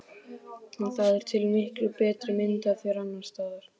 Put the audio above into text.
Það er til miklu betri mynd af þér annars staðar.